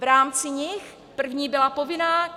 V rámci nich - první byla povinná.